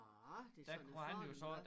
Nåh det sådan en fornemt der